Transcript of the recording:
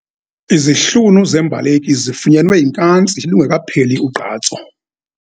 Izihlunu zembaleki zifunyenwe yinkantsi lungekapheli ugqatso.